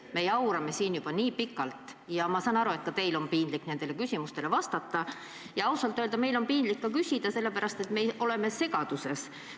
Me jaurame siin juba nii pikalt ja ma saan aru, et teil on piinlik nendele küsimustele vastata, ja ausalt öelda on meil piinlik ka küsida, sest me oleme segaduses.